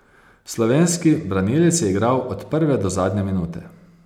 Slovenski branilec je igral od prve do zadnje minute.